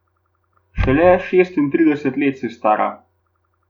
Šele šestintrideset let si stara.